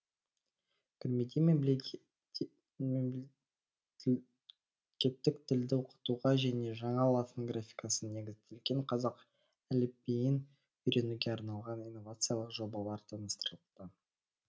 көрмеде мемлдекеттік тілді оқытуға және жаңа латын графикасына негізделген қазақ әліпбиін үйренуге арналған инновациялық жобалар таныстырылды